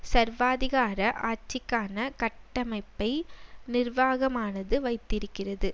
சர்வாதிகார ஆட்சிக்கான கட்டமைப்பை நிர்வாகமானது வைத்திருக்கிறது